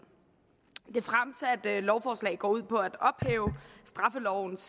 det fremsatte lovforslag går ud på at ophæve straffelovens